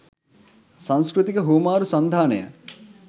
සංස්කෘතික හුවමාරු සන්ධානය,